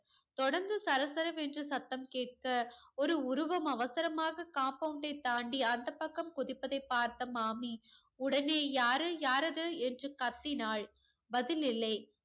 தொடர்ந்து சர சரவென்று சத்தம் கேட்க ஒரு உருவம் அவசரமாக compound டை தாண்டி அந்தப் பக்கம் குதிப்பதை பார்த்த மாமி உடனே யாரு, யாரது என்று கத்தினாள். பதில் இல்லை.